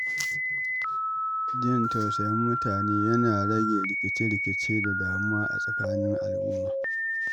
Jin tausayin mutane yana rage rikice-rikice da damuwa a tsakanin al’umma.